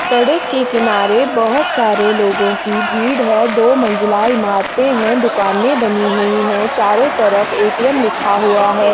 सड़क के किनारे बोहोत सारे लोगों की भीड़ है दो मंजिला ईमारते है दुकानें बनी हुई है चारों तरफ ए. टी. एम लिखा हुआ हैं।